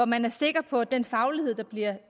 man er sikker på at den faglighed der bliver